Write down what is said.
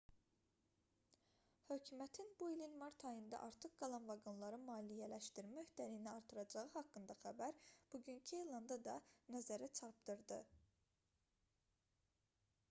hökumətin bu ilin mart ayında artıq qalan vaqonları maliyyələşdirmə öhdəliyini artıracağı haqqında xəbər bugünkü elanda da nəzərə çarpdırdı